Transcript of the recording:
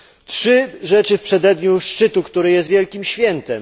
Trzy rzeczy w przededniu szczytu, który jest wielkim świętem.